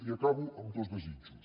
i acabo amb dos desitjos